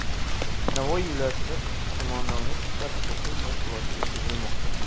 Navoiy viloyatida qo‘mondonlik-shtab o‘quv mashg‘uloti o‘tkazilmoqda.